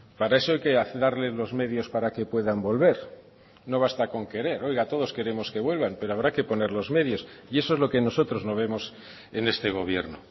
para eso hay que darles los medios para que puedan volver no basta con querer oiga todos queremos que vuelvan pero habrá que poner los medios y eso es lo que nosotros no vemos en este gobierno